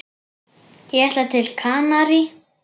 Ég ætla til Kanarí.